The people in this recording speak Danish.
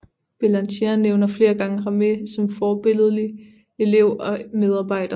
Bélanger nævner flere gange Ramée som forbilledlig elev og medarbejder